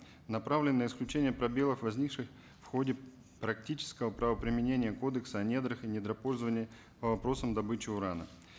направлены на исключения пробелов возникших в ходе практического правоприменения кодекса о недрах и недропользований по вопросам добычи урана